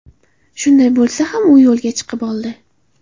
Shunday bo‘lsa ham u yo‘lga chiqib oldi.